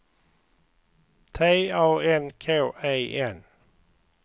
T A N K E N